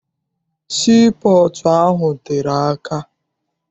Sii pọọtụ ahụ tere aka.